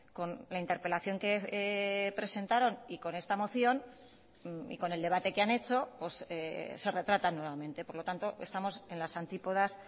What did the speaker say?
con la interpelación que presentaron y con esta moción y con el debate que han hecho se retratan nuevamente por lo tanto estamos en las antípodas